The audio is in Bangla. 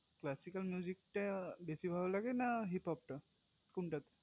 classical টা বেশি ভালো লাগে না hipab টা